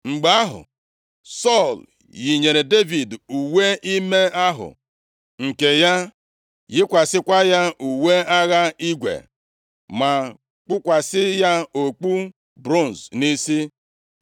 Mgbe ahụ, Sọl yinyere Devid uwe ime ahụ nke ya, yikwasịkwa ya uwe agha igwe, ma kpukwasị ya okpu bronz nʼisi.